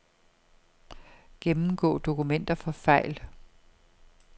Gennemgå dokumenter for fejl.